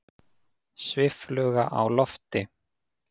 Sviffluga á lofti.